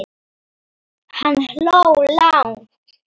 Hann hló lágt.